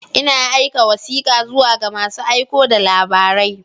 Ina aika wasika zuwa ga masu aiko da labarai.